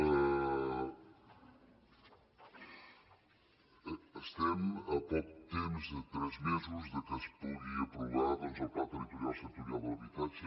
estem a poc temps a tres mesos de que es pugui aprovar el pla territorial sectorial de l’habitatge